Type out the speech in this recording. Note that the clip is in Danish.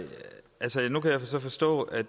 så forstå at